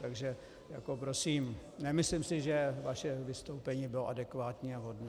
Takže prosím, nemyslím si, že vaše vystoupení bylo adekvátní a vhodné.